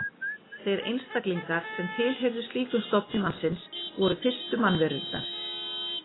Þeir einstaklingar sem tilheyrðu slíkum stofni mannsins voru fyrstu mannverurnar.